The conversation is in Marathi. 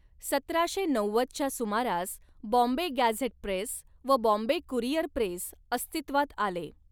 सतराशे नव्वद च्या सुमारास बॉम्बे गॅझेट प्रेस व बॉम्बे कुरिअर प्रेस अस्तित्वात आले.